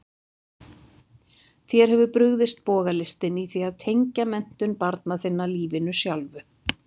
Þér hefur brugðist bogalistin í því að tengja menntun barna þinna lífinu sjálfu.